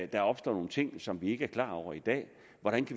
der opstår nogle ting som vi ikke er klar over i dag